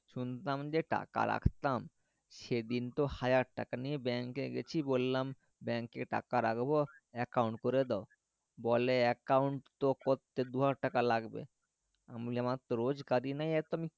শুনতাম যে টাকা রাখতাম সেদিন তো হাজার টাকা নিয়ে bank গেছি বললাম bank টাকা রাখবো account করে দাও বলে account করতে দুহাজার টাকা লাগবে আমি আমার তো রোজ কাজ নেই তো আমি